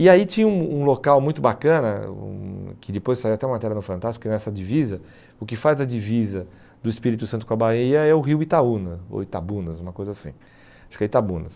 E aí tinha um um local muito bacana, um que depois saiu até uma matéria no Fantástico, que nessa divisa, o que faz a divisa do Espírito Santo com a Bahia é o rio Itaúna, ou Itabunas, uma coisa assim, acho que é Itabunas.